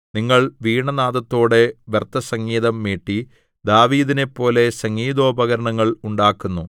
നിങ്ങൾ വീണാനാദത്തോടെ വ്യർത്ഥസംഗീതം മീട്ടി ദാവീദിനെപ്പോലെ സംഗീതോപകരണങ്ങൾ ഉണ്ടാക്കുന്നു